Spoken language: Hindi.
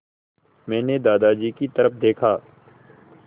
मैंने दादाजी की तरफ़ देखा